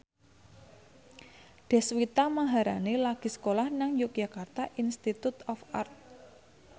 Deswita Maharani lagi sekolah nang Yogyakarta Institute of Art